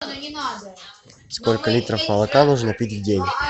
сколько литров молока нужно пить в день